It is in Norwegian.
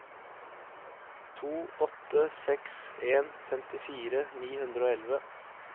to åtte seks en femtifire ni hundre og elleve